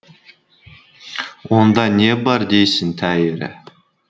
онда не бар дейсің тәйірі